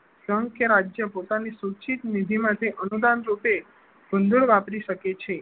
સંઘ કે રાજ્ય પોતાની સૂચિત નિધિ માંથી અનુદાન રૂપે વાપરી શકે છે.